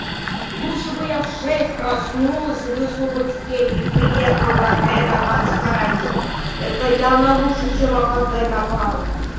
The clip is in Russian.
лучше бы я в шесть проснулась и вышла бы в семь и приехала бы опять на два часа раньше это явно лучше чем опоздать на пару